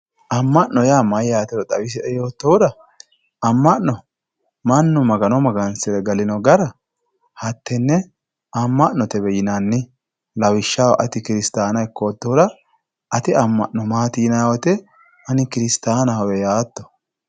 Ama'note yaa mayyatero xawisie yoottohura ama'no mannu Magano magansire gallino gara hatene ama'notewe yinanni lawishshaho ati kiristanna ikkottohura ate ama'no maati yiniro ani kiristanahowe yaatto.